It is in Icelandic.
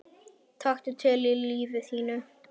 Taktu til í lífi þínu!